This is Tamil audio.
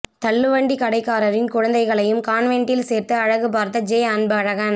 தள்ளுவண்டி கடைக்காரரின் குழந்தைகளையும் கான்வென்ட்டில் சேர்த்து அழகு பார்த்த ஜெ அன்பழகன்